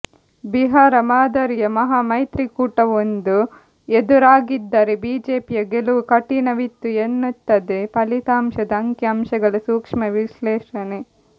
ಬಿಹಾರ ಮಾದರಿಯ ಮಹಾ ಮೈತ್ರಿಕೂಟವೊಂದು ಎದುರಾಗಿದ್ದರೆ ಬಿಜೆಪಿಯ ಗೆಲುವು ಕಠಿಣವಿತ್ತು ಎನ್ನುತ್ತದೆ ಫಲಿತಾಂಶದ ಅಂಕಿ ಅಂಶಗಳ ಸೂಕ್ಷ್ಮ ವಿಶ್ಲೇಷಣೆ